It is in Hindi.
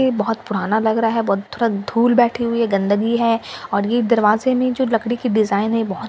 ये बहुत पुराना लग रहा है बहुत थोड़ा धूल बैठे हुए है गंदगी है और यह दरवाज़े में जो लकड़ी की डिज़ाइन है ये बहुत पुरानी डिज़ाइन --